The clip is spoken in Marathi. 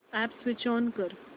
अॅप स्विच ऑन कर